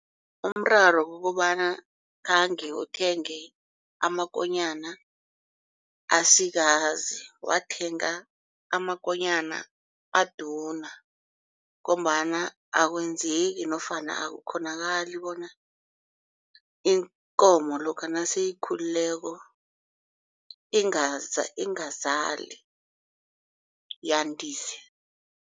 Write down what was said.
Umraro kukobana khange uthenge amakonyana asikazi wathenga amakonyana aduna ngombana akwenzeki nofana akukghonakali bona inkomo lokha naseyikhulileko ingazali yandise.